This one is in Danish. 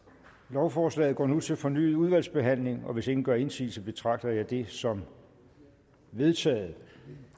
lovforslaget går nu til fornyet udvalgsbehandling hvis ingen gør indsigelse betragter jeg dette som vedtaget